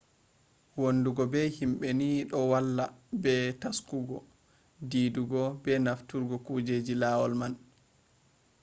wondugo be himbe ni do valla be taskugo didugo be nafturgo kujeji lawol man